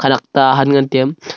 ta han ngan tai aa.